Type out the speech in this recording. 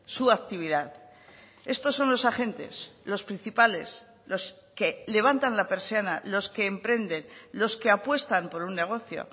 su actividad estos son los agentes los principales los que levantan la persiana los que emprenden los que apuestan por un negocio